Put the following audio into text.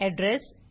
address